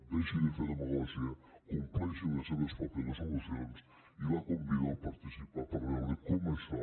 deixi de fer demagògia compleixin les seves pròpies resolucions i la convido a participar hi per veure com això